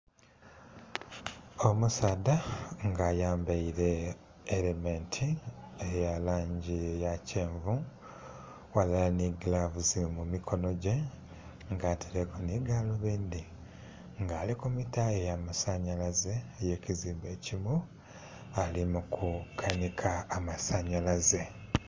Omusaadha nga ayambaire elementi eya langi eya kyenvu ghalala nhi gilavusi mu mikonho gye nga ataireku nhi galubindhi nga ali ku mitaa eya masanhalaze eye kizimbe ekimu ali ku kanhika amasanhalaze.